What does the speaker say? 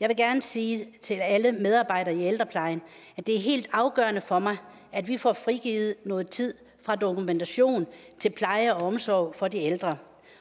jeg vil gerne sige til alle medarbejdere i ældreplejen at det er helt afgørende for mig at vi får frigivet noget tid fra dokumentation til pleje og omsorg for de ældre